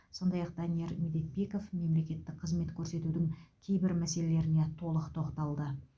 сондай ақ данияр медетбеков мемлекеттік қызмет көрсетудің кейбір мәселелеріне толық тоқталды